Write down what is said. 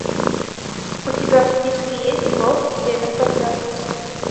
у тебя в списке есть волк и семеро козлят